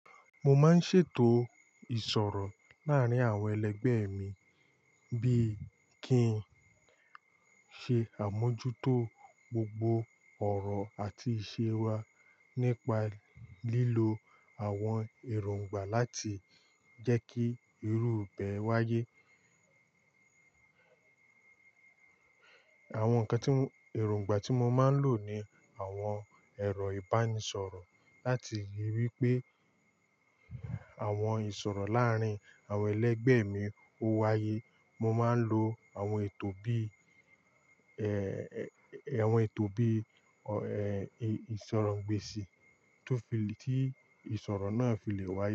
Mo máa ń ṣètò ìṣòro láàárín àwọn ẹlẹgbẹ́ mi bí i kí n ṣe àmójútó gbogbo ọ̀rọ̀ àti ìṣe wa nípa lílo àwọn èròngbà láti jẹ́ kí irú bee wáyé. Àwọn ǹkan tí èròngbà tí mo máa ń lò ni àwọn ẹ̀rọ ìbánisọ̀rọ̀ láti ríi wí pé àwọn ìṣòro láàárín àwọn ẹlẹgbẹ́ mi ó wáyé. Mo máa ń lo àwọn ètò bí í, ẹ́ẹ́, àwọn ètò bí í, ẹ́ẹ́, ìṣòro ìgbésì tó fi lè, tí ìṣòro náà fi lè wáyé.